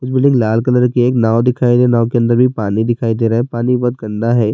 لال colour کی ایک ناؤ دکھائی دے رہی ہے۔ ناؤ کے اندر بھی پانی دکھائی دے رہا ہے۔ پانی بھوت گندا ہے-